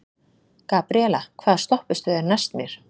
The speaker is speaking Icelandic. Gabriela, hvaða stoppistöð er næst mér?